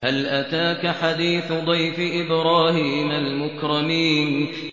هَلْ أَتَاكَ حَدِيثُ ضَيْفِ إِبْرَاهِيمَ الْمُكْرَمِينَ